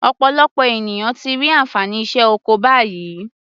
Ọ̀pọ̀lọpọ̀ ènìyàn ti rí ànfàní iṣẹ́ oko báyìí.